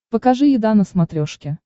покажи еда на смотрешке